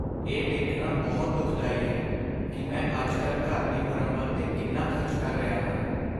ਇਹ ਦੇਖਣਾ ਬਹੁਤ ਦੁਖਦਾਈ ਹੈ ਕਿ ਮੈਂ ਅੱਜਕੱਲ੍ਹ ਘਰ ਦੀ ਮੁਰੰਮਤ 'ਤੇ ਕਿੰਨਾ ਖ਼ਰਚ ਕਰ ਰਿਹਾ ਹਾਂ।